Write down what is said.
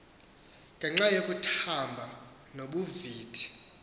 ngenxa yokuthamba nobuvithi